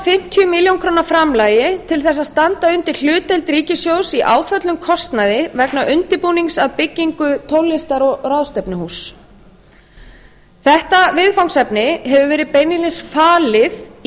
fimmtíu milljónir króna framlagi til að standa undir hlutdeild ríkissjóðs í áföllnum kostnaði vegna undirbúnings að byggingu tónlistar og ráðstefnuhúss þetta viðfangsefni hefur verið beinlínis falið í